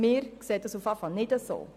Wir sehen es auf jeden Fall nicht so.